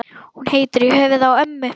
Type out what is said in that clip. Hún heitir í höfuðið á ömmu.